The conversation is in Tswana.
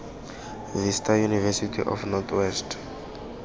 vista university of north west